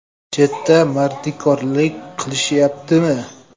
Chetda mardikorlik qilishyaptimi?